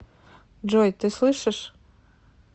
джой ты слышишь